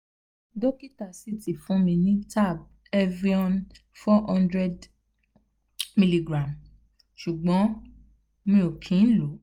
dokita si ti fun mi ni tab evion four hundred mg sugbon mo kin lo